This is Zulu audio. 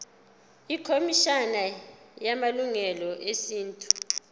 ikhomishana yamalungelo esintu